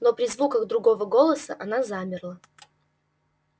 но при звуках другого голоса она замерла